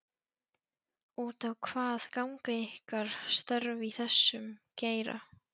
Út á hvað ganga ykkar störf í þessum geira?